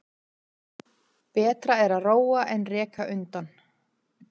Betra er að róa en reka undan.